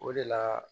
O de la